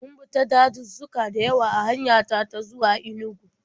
Mun bi ta dazuzzuka da yawa a hanya ta ta zuwa Inugu.